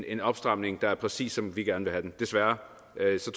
en opstramning der er præcis som vi gerne vil have den desværre